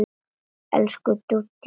Elsku Dúdú systir.